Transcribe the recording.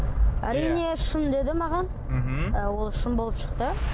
әрине шын деді маған мхм ол шын болып шықты